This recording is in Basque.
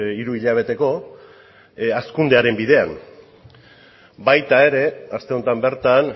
hiruhilabeteko hazkundearen bidean baita ere aste honetan bertan